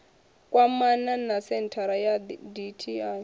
kwamana na senthara ya dti